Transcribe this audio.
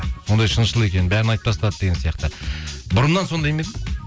сондай шыншыл екен бәрін айтып тастады деген сияқты бұрыннан сондай ма едің